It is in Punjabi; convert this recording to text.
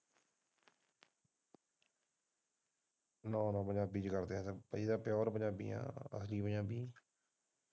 ਨਾ ਨਾ ਪੰਜਾਬੀ ਵਿੱਚ ਕਰਦੇ ਹੈ ਪੀਯੂਰ ਪੰਜਾਬੀ।